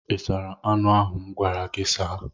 Ị sara anụ ahụ m gwara gị saa?